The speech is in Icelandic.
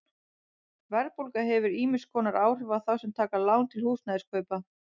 Verðbólga hefur ýmiss konar áhrif á þá sem taka lán til húsnæðiskaupa.